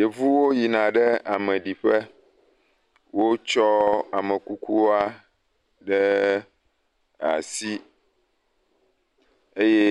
Yevuwo yina ɖe ameɖiƒe. Wotsɔ amekukua ɖee asi. Eye